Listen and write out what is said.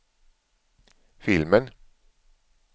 filmen